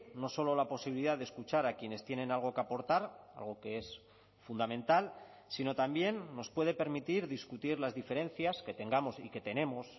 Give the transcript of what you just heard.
no solo la posibilidad de escuchar a quienes tienen algo que aportar algo que es fundamental sino también nos puede permitir discutir las diferencias que tengamos y que tenemos